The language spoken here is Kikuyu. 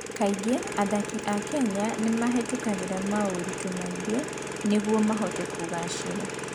Kaingĩ athaki a Kenya nĩ mahĩtagia moritũ maingĩ nĩguo mahote kũgaacĩra.